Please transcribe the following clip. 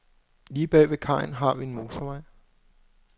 Lige bag ved kajen har vi en motorvej.